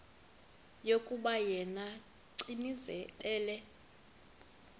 yokuba yena gcinizibele